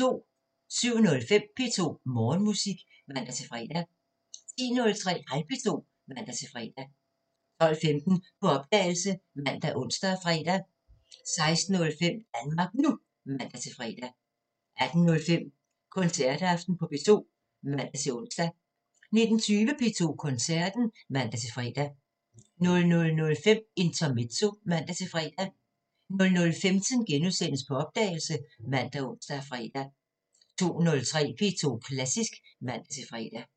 07:05: P2 Morgenmusik (man-fre) 10:03: Hej P2 (man-fre) 12:15: På opdagelse ( man, ons, fre) 16:05: Danmark NU (man-fre) 18:05: Koncertaften på P2 (man-ons) 19:20: P2 Koncerten (man-fre) 00:05: Intermezzo (man-fre) 00:15: På opdagelse *( man, ons, fre) 02:03: P2 Klassisk (man-fre)